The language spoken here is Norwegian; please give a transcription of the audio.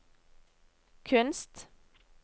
kunst